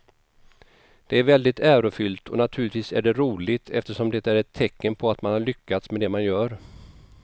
Det är väldigt ärofyllt och naturligtvis är det roligt eftersom det är ett tecken på att man har lyckats med det man gör.